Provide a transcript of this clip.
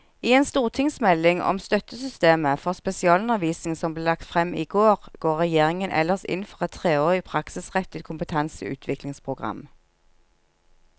I en stortingsmelding om støttesystemet for spesialundervisning som ble lagt frem i går, går regjeringen ellers inn for et treårig praksisrettet kompetanseutviklingsprogram.